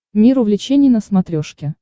мир увлечений на смотрешке